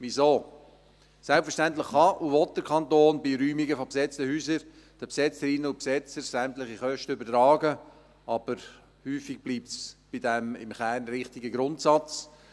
Weshalb? – Selbstverständlich kann und will der Kanton bei Räumungen von besetzten Häusern den Besetzerinnen und Besetzer sämtliche Kosten übertragen, aber häufig bleibt es bei diesem im Kern richtigen Grundsatz.